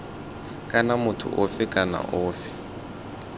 kana motho ofe kana ofe